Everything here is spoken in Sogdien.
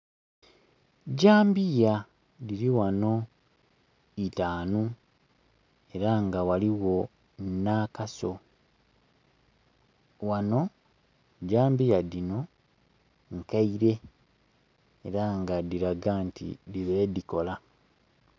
Jambiya dhiri ghano itaanu era nga ghaligho n'akaso. Ghano, jambiya dhino nkeire era nga dhilaga nti dhibeire dhikola.